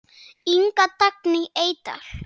Inga Dagný Eydal.